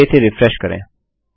चलिए इसे रिफ्रेश करें